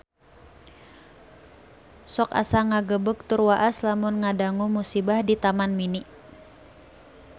Sok asa ngagebeg tur waas lamun ngadangu musibah di Taman Mini